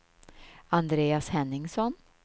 Andreas Henningsson